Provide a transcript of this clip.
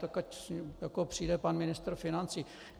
Tak ať přijde pan ministr financí.